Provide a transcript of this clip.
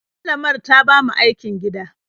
Malamar ta ba mu aikin gida.